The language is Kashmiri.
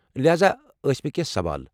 لہاذا ٲسۍ مے٘ کینٛہہ سوال۔